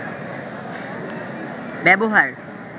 ব্যবহার